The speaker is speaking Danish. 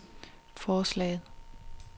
forslaget